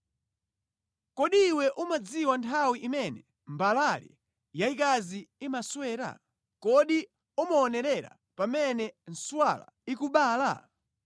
“Kodi iwe umadziwa nthawi imene mbalale yayikazi imaswera? Kodi umaonerera pamene nswala ikubala?